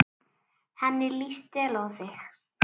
Henni líst vel á þig.